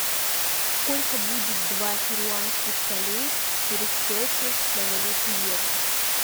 сколько будет два перуанских солей в пересчете на валюту евро